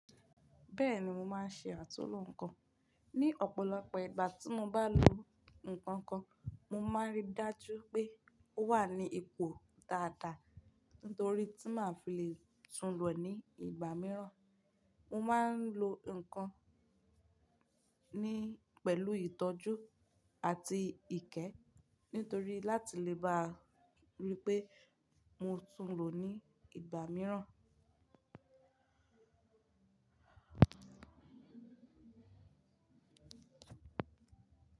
Bẹ́ẹ̀ni mo máa ń ṣe àtúnlo nǹkan. Ni ọ̀pọ̀lọpọ̀ ìgbà tí mo bá lo nǹkan kan, mo máa ń rí dájú pé o wà ní ipò dáadáa ń torí tí màá fi le tún lo ní ìgbà mìíràn. Mo máa ń lo nǹkan ní pẹ̀lú ìtọ́jú àti ìkẹ́ nítorí láti lè bá ríi pé mo tún lo ní ìgbà mìíràn.